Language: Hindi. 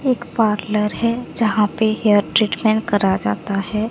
एक पार्लर हैं जहां पे हेयर ट्रीटमेंट करा जाता हैं।